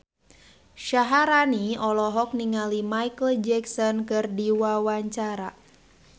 Syaharani olohok ningali Micheal Jackson keur diwawancara